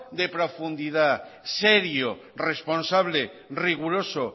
de profundidad serio responsable riguroso